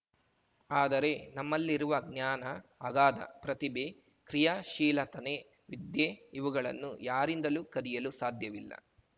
ಆದರೆ ನಮ್ಮಲ್ಲಿರುವ ಜ್ಞಾನ ಅಗಾಧ ಪ್ರತಿಭೆ ಕ್ರಿಯಾಶೀಲತನೆ ವಿದ್ಯೆ ಇವುಗಳನ್ನು ಯಾರಿಂದಲೂ ಕದಿಯಲು ಸಾಧ್ಯವಿಲ್ಲ